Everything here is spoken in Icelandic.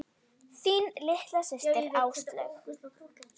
Þín litla systir, Áslaug.